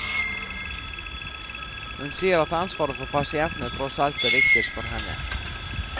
Hun sier at ansvaret for pasientene tross alt er viktigst for henne.